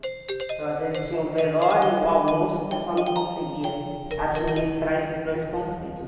Então, às vezes tinha o velório e o almoço, o pessoal não conseguia administrar esses dois conflitos.